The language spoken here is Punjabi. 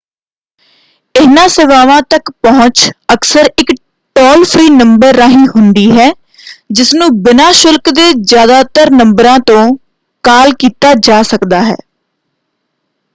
ਇਹਨਾਂ ਸੇਵਾਵਾਂ ਤੱਕ ਪਹੁੰਚ ਅਕਸਰ ਇਕ ਟੋਲ-ਫਰੀ ਨੰਬਰ ਰਾਹੀ ਹੁੰਦੀ ਹੈ ਜਿਸਨੂੰ ਬਿਨਾਂ ਸ਼ੁਲਕ ਦੇ ਜ਼ਿਆਦਾਤਰ ਨੰਬਰਾਂ ਤੋਂ ਕਾਲ ਕੀਤਾ ਜਾ ਸਕਦਾ ਹੈ।